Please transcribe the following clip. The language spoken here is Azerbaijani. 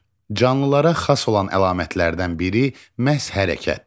Canlılara xas olan əlamətlərdən biri məhz hərəkətdir.